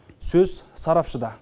сөз сарапшыда